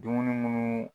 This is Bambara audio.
Dumuni munnu